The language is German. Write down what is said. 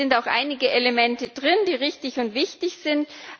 Es sind auch einige Elemente drin, die richtig und wichtig sind.